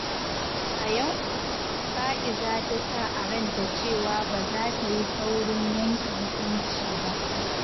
A yau, Fa’iza ta sa a ranta cewa ba za ta yi saurin yanke hukunci ba.